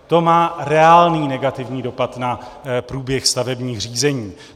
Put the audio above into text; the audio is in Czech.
To má reálný negativní dopad na průběh stavebních řízení.